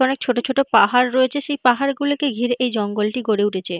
অনেক ছোট ছোট পাহাড় রয়েছে সেই পাহাড়গুলোকে ঘিরে এই জঙ্গলটি গড়ে উঠেছে